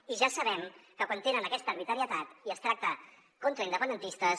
i ja sabem que quan tenen aquesta arbitrarietat i es tracta contra independentistes